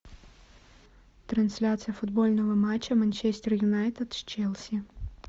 трансляция футбольного матча манчестер юнайтед с челси